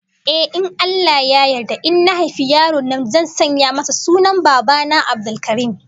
Ehh, in Allah Ya yarda in na haifi yaro namiji zan sanya masa sunan Baba na, Abdulkarim